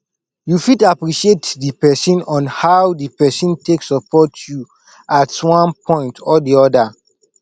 you fit appreciate di person on how di person take support you at one point or di oda